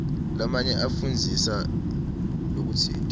lamanye afundzisa lokutsite